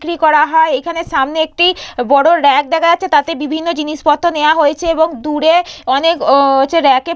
বিক্রি করা হয় এখানে সামনে একটি বড় রেক দেখা যাচ্ছে। তাতে বিভিন্ন জিনিসপত্র নেওয়া হয়েছে এবং দূরে অনেক হচ্ছে রেক --